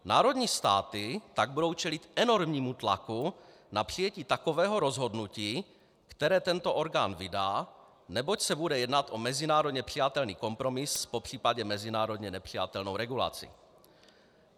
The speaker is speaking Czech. Národní státy tak budou čelit enormnímu tlaku na přijetí takového rozhodnutí, které tento orgán vydá, neboť se bude jednat o mezinárodně přijatelný kompromis, popřípadě mezinárodně nepřijatelnou regulaci.